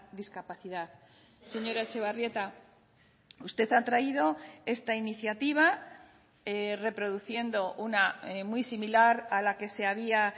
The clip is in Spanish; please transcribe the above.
discapacidad señora etxebarrieta usted ha traído esta iniciativa reproduciendo una muy similar a la que se había